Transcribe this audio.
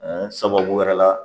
Ɛɛ sababu wɛrɛ la